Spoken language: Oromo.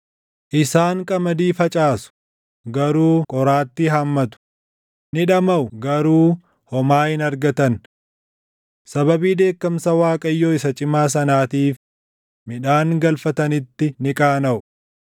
Isaan qamadii facaasu garuu qoraatii haammatu; ni dhamaʼu garuu homaa hin argatan. Sababii dheekkamsa Waaqayyoo isa cimaa sanaatiif midhaan galfatanitti ni qaanaʼu.”